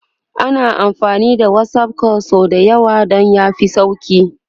ana amfani da WhatsApp call sau da yawa Dan ya fi sauki